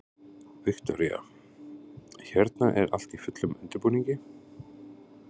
Viktoría: Hérna er allt í fullum undirbúningi?